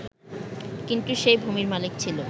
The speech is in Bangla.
কিন্তু সেই ভূমির মালিক ছিল